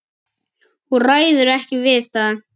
Hún ræður ekki við það.